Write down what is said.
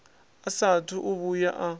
a saathu u vhuya a